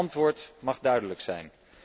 Mijn antwoord mag duidelijk zijn.